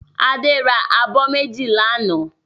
Adé ra abọ́ méjì lánàá.